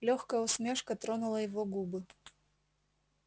лёгкая усмешка тронула его губы